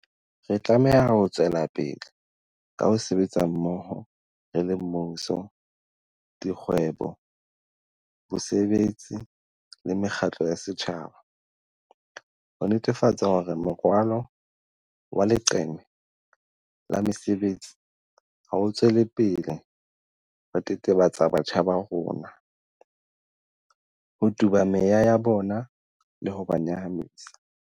Re tlameha ho tswelapele ka ho sebetsa mmoho re le mmuso, dikgwebo, bosebetsi le mekgatlo ya setjhaba, ho netefatsa hore morwalo wa leqeme la mesebetsi ha o tswele pele ho tetebetsa batjha ba rona, ho tuba meya ya bona le ho ba nyahamisa.